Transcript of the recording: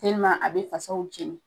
a be fasaw jeni